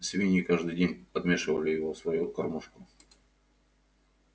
свиньи каждый день подмешивали его в свою кормушку